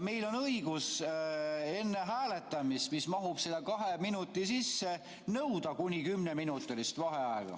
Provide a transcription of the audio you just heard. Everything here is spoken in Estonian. Meil on õigus enne hääletamist, mis mahub selle kahe minuti sisse, nõuda kuni kümneminutilist vaheaega.